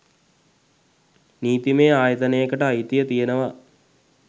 නීතිමය ආයතනයකට අයිතිය තියෙනව.